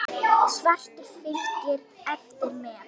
Svartur fylgir eftir með.